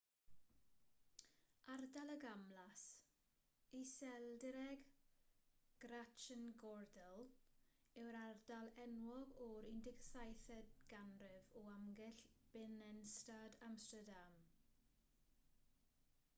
ardal y gamlas iseldireg: grachtengordel yw'r ardal enwog o'r 17eg ganrif o amgylch binnenstad amsterdam